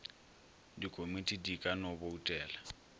dikomiti di ka no boutela